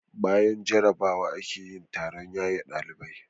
Bayan jarrabawa ake yin taron yaye ɗalibai.